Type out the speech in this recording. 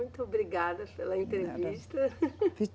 Muito obrigada pela entrevista.